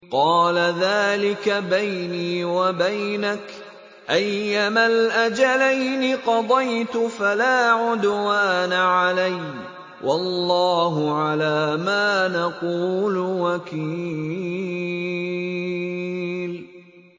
قَالَ ذَٰلِكَ بَيْنِي وَبَيْنَكَ ۖ أَيَّمَا الْأَجَلَيْنِ قَضَيْتُ فَلَا عُدْوَانَ عَلَيَّ ۖ وَاللَّهُ عَلَىٰ مَا نَقُولُ وَكِيلٌ